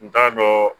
N t'a dɔn